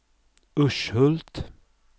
Urshult